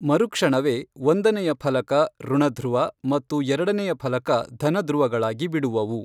ಮರುಕ್ಷಣವೇ ಒಂದನೆಯ ಫಲಕ ಋಣಧ್ರುವ ಮತ್ತು ಎರಡನೇಯ ಫಲಕ ಧನಧ್ರುವಗಳಾಗಿ ಬಿಡುವವು.